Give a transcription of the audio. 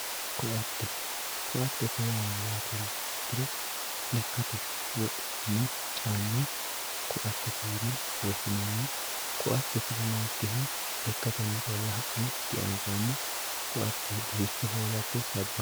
Koatte, koatte yaa mayatte yiniha ikkiro lekkate wodhinani caama koattette yine woshinanni, koatte tini nookiha lekkatenni calla ha'ne di, anfanni, koatte gufficho hoollatte saba